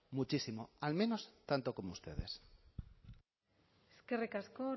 muchísimo al menos tanto como ustedes eskerrik asko